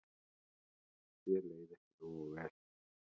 Þér leið ekki nógu vel.